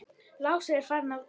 Lási er farinn að geyma.